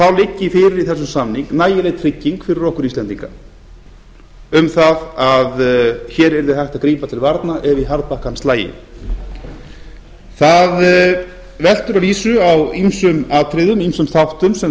þá liggi fyrir í þessum samningi nægileg trygging fyrir okkur íslendingar um að hér yrði hægt að grípa til varna ef í harðbakkann slægi það veltur að vísu á ýmsum atriðum ýmsum þáttum sem